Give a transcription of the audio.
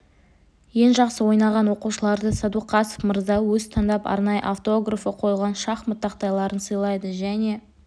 ең жақсы ойнаған оқушыларды сәдуақасов мырза өзі таңдап арнайы автографы қойылған шахмат тақтайларын сыйлады және